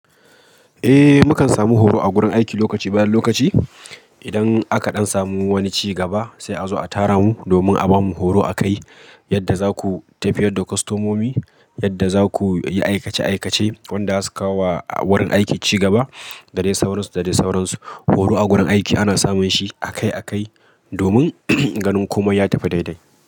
Eh, mukan samu horo a gurin aiki lokaci bayan lokaci, idan aka ɗan samu wani ci gaba, sai a zo a tara mu, domin a bamu horo akai, yadda za ku tafiyar da kostomomi, yadda za ku yi aikace-aikace, wanda zasu kawo wa wurin aiki cigaba, da dai sauransu da dai sauransu. Horo a gurin aiki ana samun shi akai-akai domin, ganin komai ya tafi daidai.